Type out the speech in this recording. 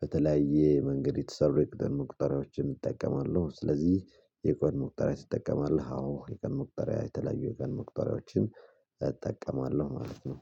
በተለያየ መንገድ የተሰሩ የቀን መቁጠሪዎችን እጠቀማለሁ። ስለዚህ የቀን መቁጠሪያ ሲጠቀም አለህ? አዎ የቀን መቁጠሪያ የተለያዩ የቀን መቁጠሪያዎችን እጠቀማለሁ ማለት ነው።